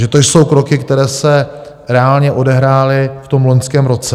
Takže to jsou kroky, které se reálně odehrály v tom loňském roce.